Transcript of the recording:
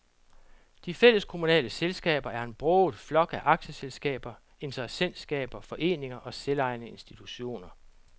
De fælleskommunale selskaber er en broget flok af aktieselskaber, interessentskaber, foreninger og selvejende institutioner.